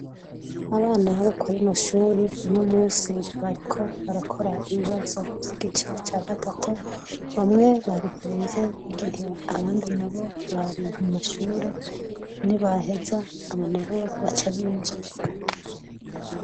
Abana bo ku rino shure uno munsi bariko barakora ibibazo vy'igice ca gatatu. Bamwe bari hanze igihe abandi nabo bari mu mashure nibaheza abo nabo baca binjira.